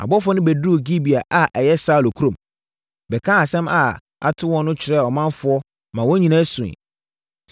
Abɔfoɔ no bɛduruu Gibea a ɛyɛ Saulo kurom, bɛkaa asɛm a ato wɔn no kyerɛɛ ɔmanfoɔ maa wɔn nyinaa suiɛ.